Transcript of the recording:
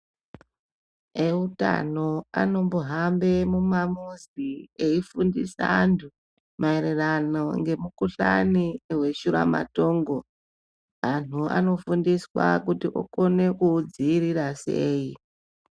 Eutano anombohambe mumamuzi eifundisa anthu maererano ngemukuhlani weshuramatongo anthuanofundiswa kuti okona kuudziirira sei.